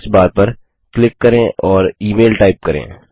search bar पर click करें और इमेल टाइप करें